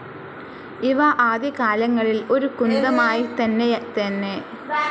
ഇവ ആദ്യകാലങ്ങളിൽ ഒരു കുന്തമായിത്തന്നെയായിതന്നെ ആയിരുന്നു ഉപയോഗിച്ചിരുന്നത്.